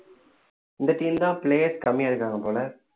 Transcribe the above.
இந்த team தான் players கம்மியா இருக்காங்க போல